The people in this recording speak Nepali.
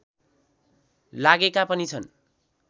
लागेका पनि छन्